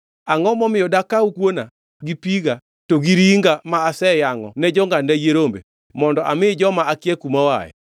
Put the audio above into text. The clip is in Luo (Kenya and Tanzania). Angʼo momiyo dakaw kuona gi piga to gi ringa ma aseyangʼo ne jongʼadna yie rombe mondo ami joma akia kuma oaye?”